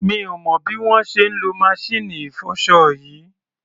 Mi ò mọ̀ bí wọ́n ṣe ń lo maṣíìnì ìfọṣọ yìí.